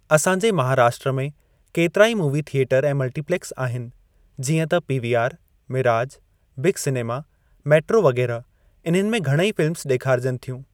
असां जे महाराष्ट्र में केतिरा ई मूवी थिएटर ऐं मल्टीप्लेक्स आहिनि जीअं त PVR, Miraj, Big Cinema, Metro वग़ैरह इन्हनि में घणई फ़िल्मस ॾेखारजनि थियूं।